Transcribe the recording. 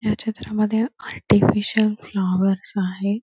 ह्या चित्रा मध्ये आर्टिफिशियल फ्लॉवर आहे.